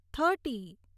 thirty